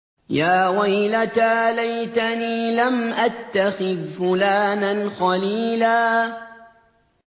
يَا وَيْلَتَىٰ لَيْتَنِي لَمْ أَتَّخِذْ فُلَانًا خَلِيلًا